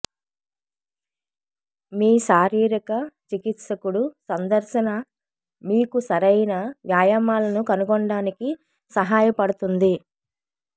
మీ శారీరక చికిత్సకుడు సందర్శన మీకు సరైన వ్యాయామాలను కనుగొనడానికి సహాయపడుతుంది